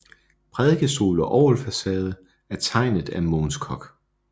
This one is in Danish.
Prædikestol og orgelfacade er tegnet af Mogens Koch